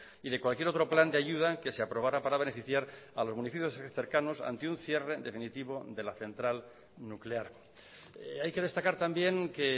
y de cualquier otro plan de ayuda que se aprobara para beneficiar a los municipios cercanos ante un cierre definitivo de la central nuclear hay que destacar también que